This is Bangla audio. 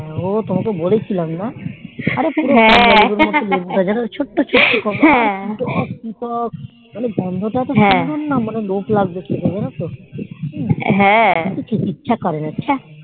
ও তোমাকে কে বলেছিলাম না ছোটো ছোট্ট কি টক টক মানে গোন্দ তও একটু সুন্দরের মনে হবে লোভ লাগবে খেতে জানতো আমার তো খেতে ইচ্ছা ওড়না ছাঃ